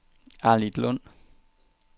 Arnitlund